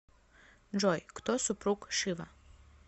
джой кто супруг шива